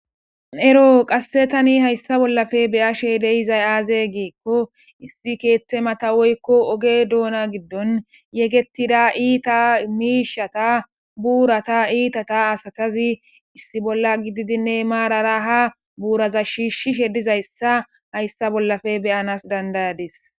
Eroo qassi thani hayssa bollape be7ashee de7izay aazee giikko issi keeththe matha woykko oge doona giddon yegeththida iithaa miishshatha buuratha iithatha asathazi issi bolla gididinne maarara haa buuraha shiishshishe dizayssa hayssa bollape be7anas danddayades.